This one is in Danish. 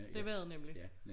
Det var det nemlig